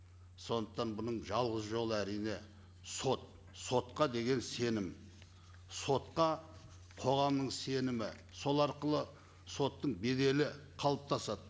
сондықтан бұның жалғыз жолы әрине сот сотқа деген сенім сотқа қоғамның сенімі сол арқылы соттың беделі қалыптасады